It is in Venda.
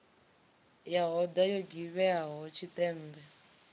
ya hoda yo givhieaho tshiṱemmbe